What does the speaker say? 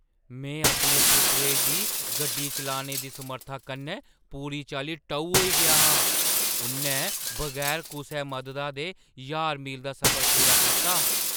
में अपने पुत्तरै दी गड्डी चलाने दी समर्था कन्नै पूरी चाल्ली टऊ होई गेआ हा! उʼन्नै बगैर कुसै मददा दे ज्हार मील दा सफर पूरा कीता!